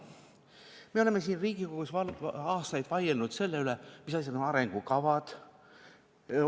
Me oleme siin Riigikogus aastaid vaielnud selle üle, mis asi on arengukava.